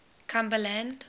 cumberland